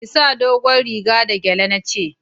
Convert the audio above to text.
Ki sa dogon riga da gyale na ce